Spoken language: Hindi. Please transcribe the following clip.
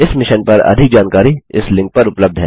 इस मिशन पर अधिक जानकारी इस लिंक पर उपलब्ध है